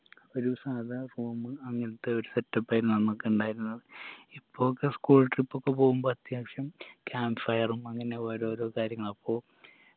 ഒരു സാധാ form അങ്ങൻത്തെ ഒരു set up ആയിരുന്നു അന്നൊക്കെ ഇണ്ടായിരുന്നത് ഇപ്പൊക്കെ school trip ഒക്കെ പോവുമ്പോ അത്യാവശ്യം camp fire ഉം അങ്ങനെ ഓരോരോ കാര്യങ്ങളാ അപ്പോ